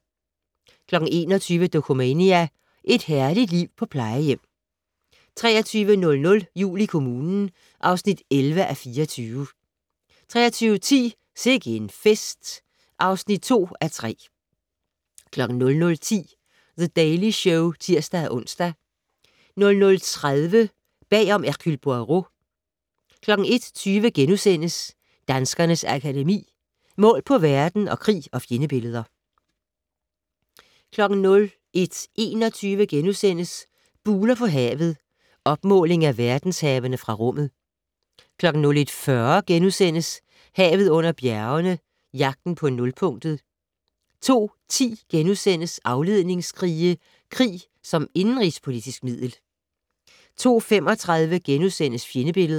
21:00: Dokumania: Et herligt liv på plejehjem 23:00: Jul i kommunen (11:24) 23:10: Sikke en fest (2:3) 00:10: The Daily Show (tir-ons) 00:30: Bag om "Hercule Poirot" 01:20: Danskernes Akademi: Mål på verden & Krig og fjendebilleder * 01:21: Buler på havet - opmåling af verdenshavene fra rummet * 01:40: Havet under bjergene - Jagten på nulpunktet * 02:10: Afledningskrige - krig som indenrigspolitisk middel * 02:35: Fjendebilleder *